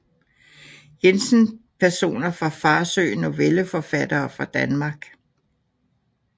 Jensen Personer fra Farsø Novelleforfattere fra Danmark